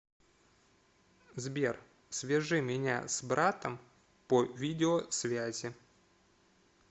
сбер свяжи меня с братом по видеосвязи